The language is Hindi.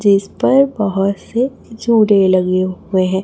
जिस पर बहोत से जुड़े लगे हुए हैं।